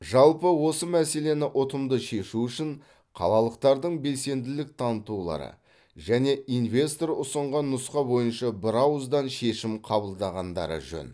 жалпы осы мәселені ұтымды шешу үшін қалалықтардың белсенділік танытулары және инвестор ұсынған нұсқа бойынша бірауыздан шешім қабылдағандары жөн